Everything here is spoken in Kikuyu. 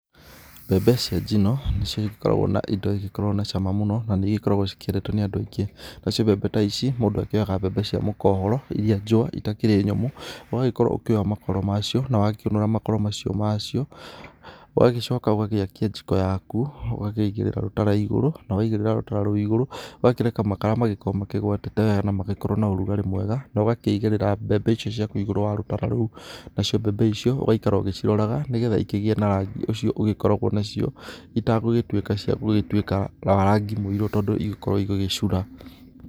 Mbembe cia njino nĩcio ikoragwo indo ikĩrĩ na cama mũno na nĩ igĩkoragwo cikĩendetwo nĩ andũ aingĩ. Na cio mbembe ta ici mũndũ akioyaga mbembe cia mũkohoro iria njũa itakĩri nyũmũ, ũgagĩkorwo ũkĩũnũra makoro macio na wakĩũa makoro macio. Ũgagĩcoka ũgakia njiko yaku ũgakĩigĩrĩra rũtara igũru, na wakiigĩrĩra rũtara rũu, ũgakĩreka makara makorwo makĩgwatĩte wega na magĩkorwo na ũrugarĩ mwega. Na ugakiigĩrĩra mbembe icio ciaku igũru rĩa rũtara rũu, nacio mbembe icio ũgaikara ũgĩciroraga nĩ getha ikĩgĩe na rangi ũcio igĩkoragwo nacio. Itanagĩtuĩka ciagũgĩtuĩka wa rangi mũirũ tondũ igũgĩkorwo igĩgĩcura.